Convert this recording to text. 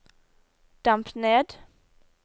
demp ned